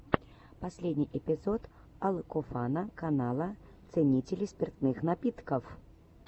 последний эпизод алкофана канала ценителей спиртных напитков